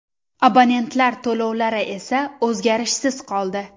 Abonentlar to‘lovlari esa o‘zgarishsiz qoldi.